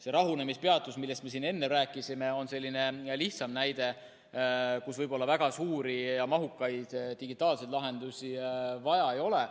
See rahunemispeatus, millest me siin enne rääkisime, on selline lihtsam näide, kus võib olla väga suuri ja mahukaid digitaalseid lahendusi vaja ei ole.